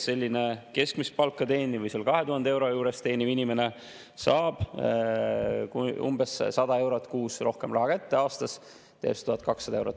Selline keskmist palka teeniv või umbes 2000 eurot teeniv inimene saab umbes 100 eurot kuus rohkem raha kätte, aastas teeb see 1200 eurot.